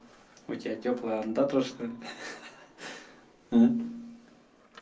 у тебя тёплая ондатра что ли хи-хи